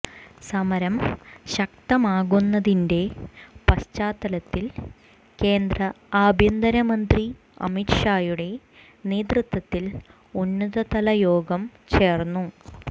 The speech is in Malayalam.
സമരം ശക്തമാകുന്നതിന്റെ പശ്ചാത്തലത്തിൽ കേന്ദ്ര ആഭ്യന്തര മന്ത്രി അമിത്ഷായുടെ നേതൃത്വത്തിൽ ഉന്നതതല യോഗം ചേർന്നു